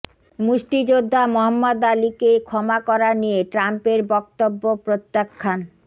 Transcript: মুষ্টিযোদ্ধা Muhammad আলীকে ক্ষমা করা নিয়ে ট্রাম্পের বক্তব্য প্রত্যাখান